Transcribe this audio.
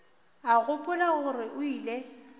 a gopola gore o ile